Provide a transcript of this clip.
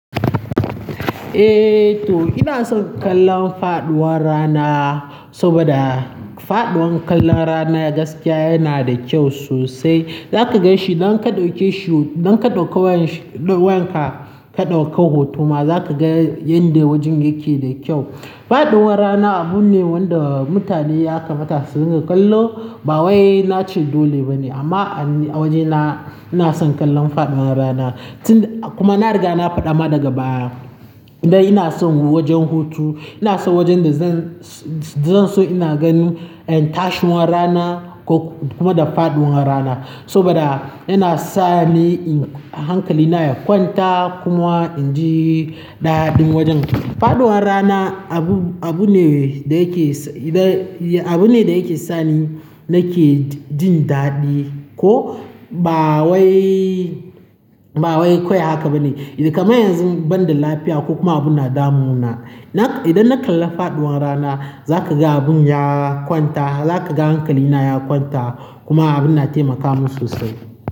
Eh to ina son kallon faɗuwar rana saboda faɗuwar kallon rana gaskiya yana da kyau sosai. Zaka ga shi idan ka ɗauke shi, idan ka ɗauka wayan ka, ka ɗauka hoto ma za ka ga yanda wajen yake da kyau. Faɗuwar rana abu ne wanda mutane ya kamata su riƙa kallo. Ba wai na ce dole ba ne amma a wajena ina son kallon faɗuwar rana. Tun kuma na riga na faɗa ma daga baya dan ina son wajen hutu, ina so wajen da zan. Zan, zan so ina gani in tashiwar rana ko kuma da faɗuwar rana saboda yana sa ni hankali na ya kwanta kuma in ji daɗin wajen. Faɗuwar rana abu, abu ne da yake, abu ne da yake sani nake jin daɗi ko ba wai, ba wai kawai haka ba ne. Idan kamar yanzu banda lafiya ko kuma abu na damu na, idan na kalla faɗuwar rana za ka ga abin ya kwanta, za ka ga hankali na ya kwanta kuma abin na taimaka min sosai.